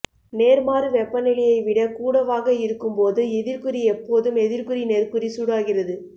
நேர்மாறு வெப்பநிலையை விடக் கூடவாக இருக்கும் போது எதிர்க்குறி எப்போதும் எதிர்க்குறி நேர்க்குறி சூடாகிறது